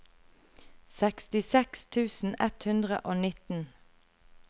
sekstiseks tusen ett hundre og nitten